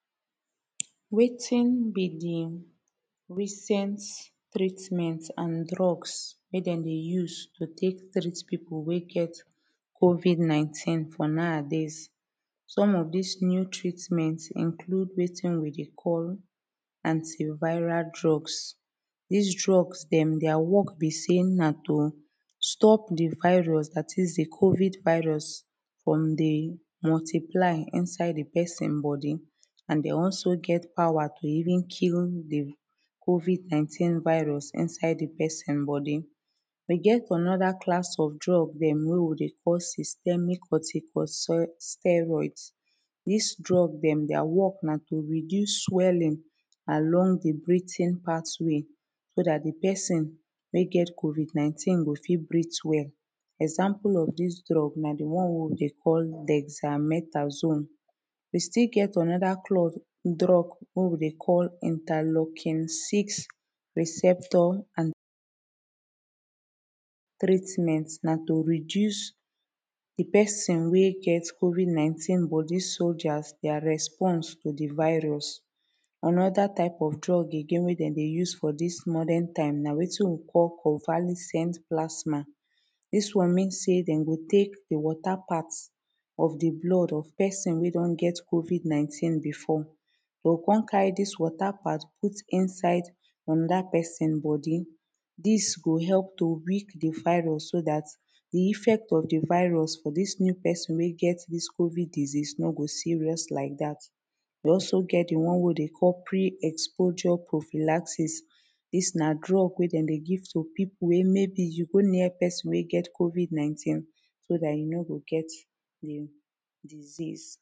Wetin be de recent treatment and drugs wey dem dey use to take treat people wey get covid 19 for nowadays. Some of dis new treatment include wetin we dey call anti viral drugs dis drugs dem dia work be say na to stop de virus dat is de COVID virus from de multiply inside de person body and they also get power to even kill de COVID 19 virus inside de person body. We get anoda class of drug dem wey we dey call systematic steroids dis drug dem dia work na to reduce swelling along de breathing pathway so dat de person wey get covid 19 go fit breath well Example of dis drug na de one wey we dey call dexamethasone we still get anoda drug wey we dey call interlocking six receptor and treatment na to reduce de person wey get covid 19 body soljas dia response to de virus Anoda type of drug again wey dem dey use for dis modern time na wetin we call convalescent plasma dis one mean say dem go take de water part of de blood of person wey don get COVID 19 before de o come carry dis water part put inside anoda person body dis go help to weak de virus so dat de effect of de virus for dis new person wey get dis COVID disease no go serious like dat we also get de one wey we dey call pre exposure profilacsis dis na drug wey dem dey give to people wey maybe you go near person wey get covid 19 so dat e no go get de disease